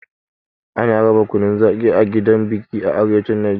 Ana raba kunun zaƙi a gidan biki a arewacin Najeriya.